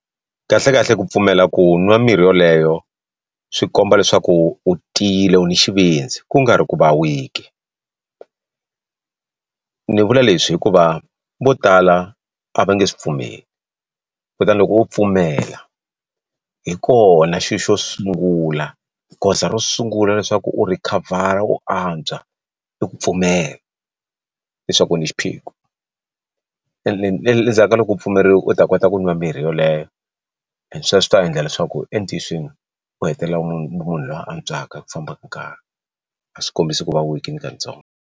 Kahlekahle ku pfumela ku nwa mirhi yoleyo swi komba leswaku u tiyile u ni xivindzi ku nga ri ku va weak ni vula leswi hikuva vo tala a va nge swi pfumeli kutani loko u pfumela hi kona xilo xo sungula goza ro sungula leswaku u rhikhavhara u antswa i ku pfumela leswaku u ni xiphiqo ene endzhaku ka loko u pfumerile u ta kota ku nwa mirhi yoleyo and sweswo swi ta endla leswaku u hetelela munhu munhu lo antswaka ku famba ka nkarhi a swi kombisi ku va weak ni ka ntsongo.